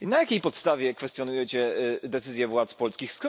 I na jakiej podstawie kwestionujecie decyzję władz polskich?